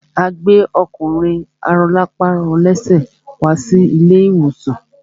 A gbẹ́ ọkùnrin arọlápàrọlẹ́sẹ̀ wá sí ilé ìwòsàn.